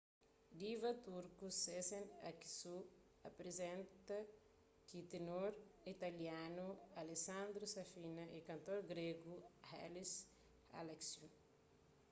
diva turku sezen aksu aprizenta ku tenor italianu alessandro safina y kantor gregu haris alexiou